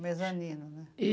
Mesanino, né? E